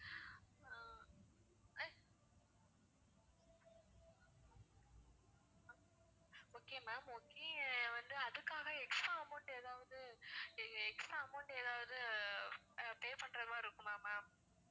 okay ma'am okay வந்து அதுக்காக extra amount ஏதாவது இங்க extra amount ஏதாவது pay பண்ற மாதிரி இருக்குமா ma'am